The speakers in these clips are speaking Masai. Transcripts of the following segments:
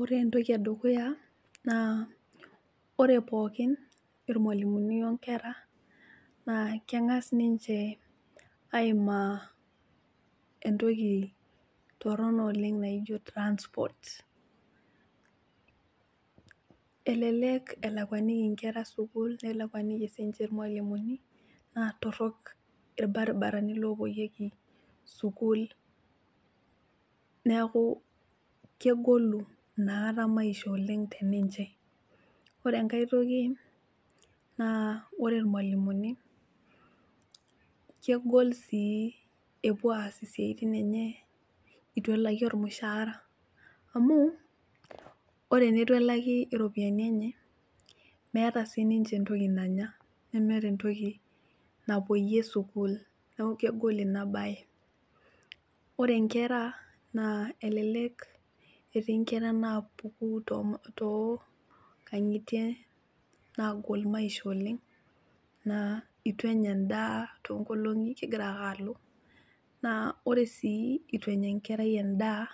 Ore entoki edukuya naa ore pookin irmwalimuni onkera naa kengas ninche aimaa entoki torono oleng naijo transport elelek elakwaniki inkera sukuul, nelakwaniki sinche irmwalimuni naa torok irbaribarani lopoyieki sukuul neaku kegolu inakata maisha oleng teninche .Ore enkae toki naa ore irmwalimuni kegol sii epuo aas isiatin enye itu elaki ormushaara, amu ore tenitu elaki iropiyiani enye meeta siniche entoki nanya , nemeeta entoki napuoyie sukuul neeku kegol ina bae. Ore nkera naa elelek etii nkera napuku too nkangitie nagol maisha oleng naa itu enya endaa tonkolongi kegira ake alo , naa ore sii itu enya enkerai endaa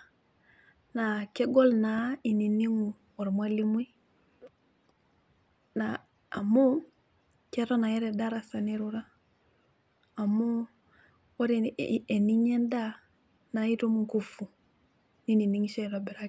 naa kegol naa ininigu ormwalimui naa amu keton ake tedarasa nirura amu ore eninya endaa naa itum inkufu niningisho aitobiraki.